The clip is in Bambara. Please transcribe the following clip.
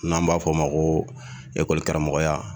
N'an b'a fɔ o ma ko ekɔlikaramɔgɔya.